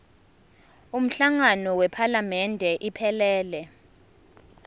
umhlangano wephalamende iphelele